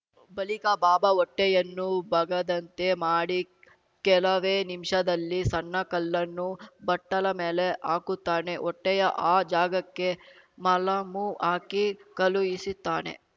ಬಳಿಕ ಬಾಬಾ ಹೊಟ್ಟೆಯನ್ನು ಬಗದಂತೆ ಮಾಡಿ ಕೆಲವೇ ನಿಮ್ಷದಲ್ಲಿ ಸಣ್ಣ ಕಲ್ಲನ್ನು ಬಟ್ಟಲ ಮೇಲೆ ಹಾಕುತ್ತಾನೆ ಹೊಟ್ಟೆಯ ಆ ಜಾಗಕ್ಕೆ ಮಲಾಮು ಹಾಕಿ ಕಳುಹಿಸುತ್ತಾನೆ